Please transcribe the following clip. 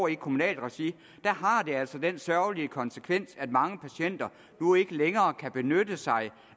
i kommunalt regi har altså den sørgelige konsekvens at mange patienter nu ikke længere kan benytte sig